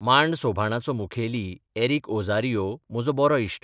मांड सोभाणाचो मुखेली एरिक ओझारियो म्हजो बरो इश्ट.